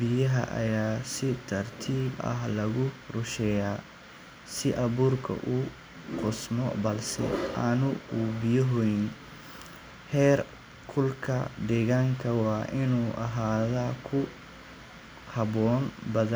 biyaha ayaa lagu rusheeya, heer kulka waa inuu ahaado ku haboon badan.